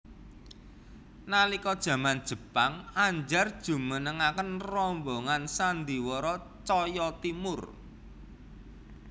Nalika jaman Jepang Andjar njumenengaken rombongan sandhiwara Tjahja Timoer